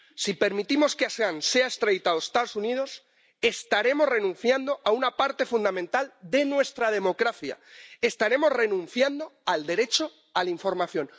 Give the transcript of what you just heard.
Si permitimos que Julian Assange sea extraditado a los Estados Unidos, estaremos renunciando a una parte fundamental de nuestra democracia, estaremos renunciando al derecho a la información.